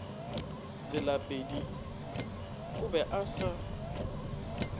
tselapedi o be a se